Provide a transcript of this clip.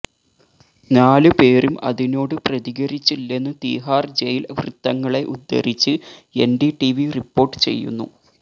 നാലുപേരും അതിനോട് പ്രതികരിച്ചില്ലെന്ന് തിഹാർ ജയില് വൃത്തങ്ങളെ ഉദ്ധരിച്ച് എൻഡിടിവി റിപ്പോർട്ട് ചെയ്യുന്നു